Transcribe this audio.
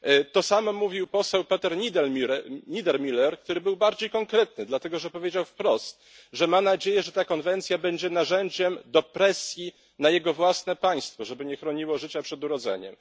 To samo mówił poseł Peter Niedermüller, który był bardziej konkretny, dlatego że powiedział wprost, że ma nadzieję, że ta konwencja będzie narzędziem do presji na jego własne państwo, żeby nie chroniło życia przed urodzeniem.